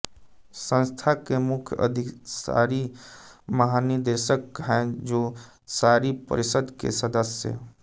संस्थान के मुख्य अधिशासी महानिदेशक हैं जो शासी परिषद् के सदस्य